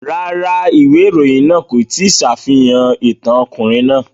Rárá, ìwé ìròyìn náà kò ní ṣàfihàn ìtàn ọkùnrin náà.